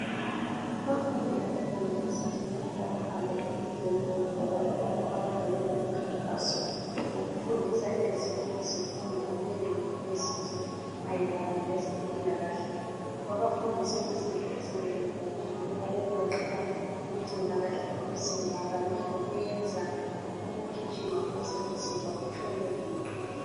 Abafundi abe yunivesithi namhla bahambe enkundleni yebhola lapha akade belomkhankaso wokufundisa ezinye izifundi kuleyo yunivesithi mayelana lezempilakahle. Babafundise izinto ezinengi kakhulu okugoqela ukugcina kahle umzimba kanye lokuyenza ukugijima ukuze umzimba utshone uqinile.